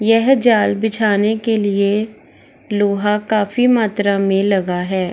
यह जाल बिछाने के लिए लोहा काफी मात्रा में लगा है।